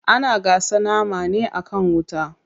Ana gasa nama ne akan wuta.